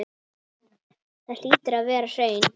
Þetta hlýtur að vera hraun.